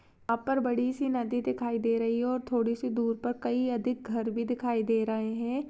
यहा पर बडी सी नदी दिखाई दे रही है और थोड़ी सी दूर पर कही अधिक घर भी दिखाई दे रहे हैं।